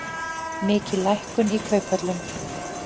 Mikil lækkun í kauphöllum